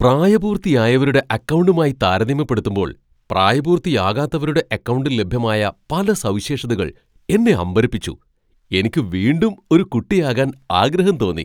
പ്രായപൂർത്തിയായവരുടെ അക്കൗണ്ടുമായി താരതമ്യപ്പെടുത്തുമ്പോൾ പ്രായപൂർത്തിയാകാത്തവരുടെ അക്കൗണ്ടിൽ ലഭ്യമായ പല സവിശേഷതകൾ എന്നെ അമ്പരപ്പിച്ചു. എനിക്ക് വീണ്ടും ഒരു കുട്ടിയാകാൻ ആഗ്രഹം തോന്നി .